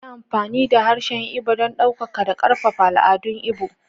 Yi amfani da harshen Igbo don ɗaukaka da ƙarfafa al'adun Igbo.